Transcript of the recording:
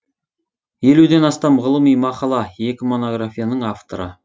елуден астам ғылыми мақала екі монографияның авторы